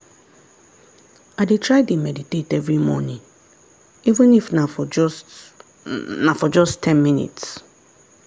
i dey try dey meditate every morning even if na for just na for just ten minutes.